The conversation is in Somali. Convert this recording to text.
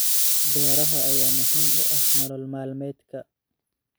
Beeraha ayaa muhiim u ah nolol maalmeedka.